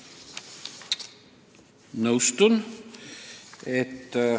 Nõustun!